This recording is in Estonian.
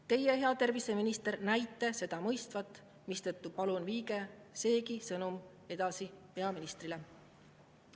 Teie, hea terviseminister, näite seda mõistvat, mistõttu palun: viige seegi sõnum edasi peaministrile.